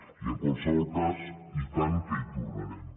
i en qualsevol cas i tant que hi tornarem